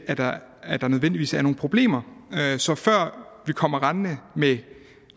at der nødvendigvis er nogen problemer så før vi kommer rendende med